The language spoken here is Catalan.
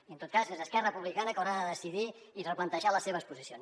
i en tot cas és esquerra republicana que haurà de decidir i replantejar les seves posicions